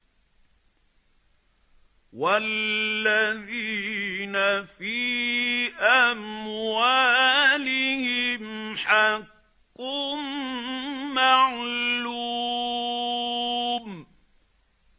وَالَّذِينَ فِي أَمْوَالِهِمْ حَقٌّ مَّعْلُومٌ